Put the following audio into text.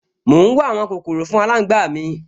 Mò ún wá àwọn kòkòrò fún aláǹgbá mi